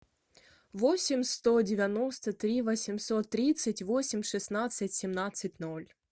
восемь сто девяносто три восемьсот тридцать восемь шестнадцать семнадцать ноль